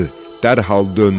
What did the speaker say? Dərhal döndü,